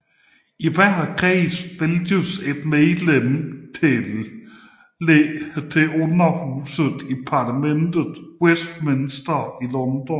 I hver kreds vælges ét medlem til Underhuset i parlamentet i Westminster i London